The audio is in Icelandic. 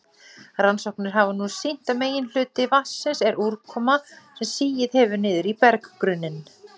Rannsóknir hafa nú sýnt að meginhluti vatnsins er úrkoma sem sigið hefur niður í berggrunninn.